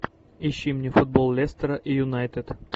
ищи мне футбол лестера и юнайтед